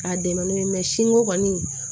K'a dɛmɛ n'o ye kɔni